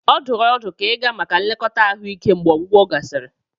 Ọ dụrụ ọdụ ka ịga maka nlekọta ahụike mgbe ọgwụgwọ gasịrị.